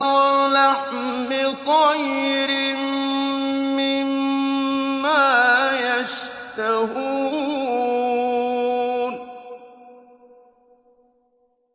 وَلَحْمِ طَيْرٍ مِّمَّا يَشْتَهُونَ